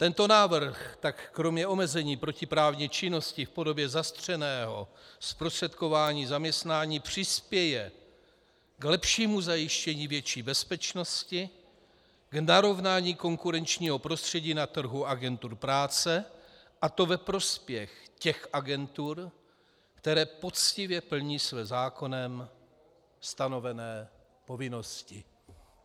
Tento návrh tak kromě omezení protiprávní činnosti v podobě zastřeného zprostředkování zaměstnání přispěje k lepšímu zajištění větší bezpečnosti, k narovnání konkurenčního prostředí na trhu agentur práce, a to ve prospěch těch agentur, které poctivě plní své zákonem stanovené povinnosti.